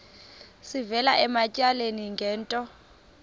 sivela ematyaleni ngento